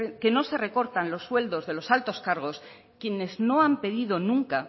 que no se recortan los sueldos de los altos cargos quienes no han pedido nunca